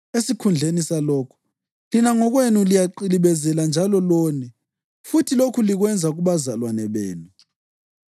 Esikhundleni salokho, lina ngokwenu liyaqilibezela njalo lone, futhi lokhu likwenza kubazalwane benu.